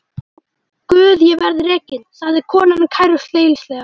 Guð ég verð rekin, sagði konan kæruleysislega.